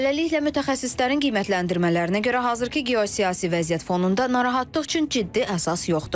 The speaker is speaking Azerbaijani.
Beləliklə, mütəxəssislərin qiymətləndirmələrinə görə, hazırki geosiyasi vəziyyət fonunda narahatlıq üçün ciddi əsas yoxdur.